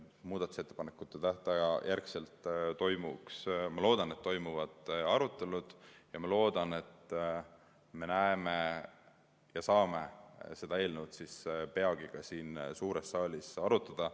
Muudatusettepanekute tähtaja möödumise järel, ma loodan, toimuvad arutelud ja ma loodan, et me saame seda eelnõu peagi ka siin suures saalis arutada.